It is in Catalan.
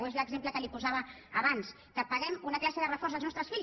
o és l’exemple que li posava abans que paguem una classe de reforç als nostre fills